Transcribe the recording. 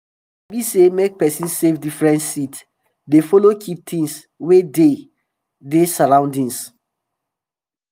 i sabi sey make person safe different seed dey follow keep tins wey dey dey surroundings